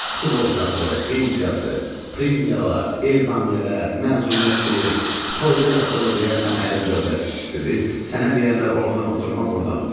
Sığortası, pensiyası, premiyalar, ezamiyyələr, məzuniyyət pulu, toyda yasta da deyərsən ərim dövlət işçisidir, sənə deyərlər ordan oturma burdan otur.